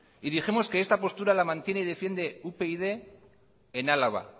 y dijimos que esta postura la mantiene y defiende upyd en álava